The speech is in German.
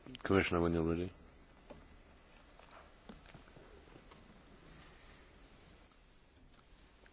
Alle Ihre Fragen sind berechtigt und wichtig und weisen darauf hin, dass wir noch nicht am Ziel sind.